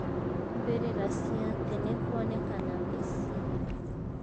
mbĩrĩra cia tene kuonekana mĩsii